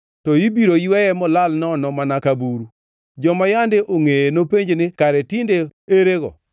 to ibiro yweye molal nono mana ka buru; joma yande ongʼeye nopenj ni, ‘Kare tinde erego?’